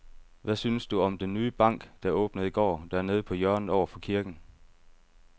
Hvad synes du om den nye bank, der åbnede i går dernede på hjørnet over for kirken?